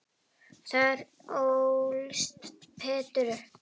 Þar ólst Peder upp.